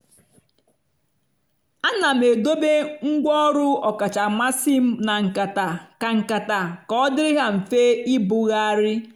ana m edobe ngwa ọrụ ọkacha mmasị m na nkata ka nkata ka ọ dịrị ha mfe ibugharị.